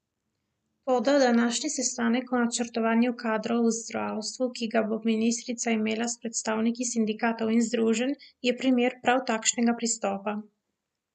Toda današnji sestanek o načrtovanju kadrov v zdravstvu, ki ga bo ministrica imela s predstavniki sindikatov in združenj, je primer prav takšnega pristopa.